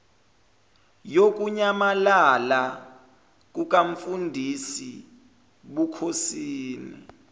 yokunyamalala kukamfundisi bukhosini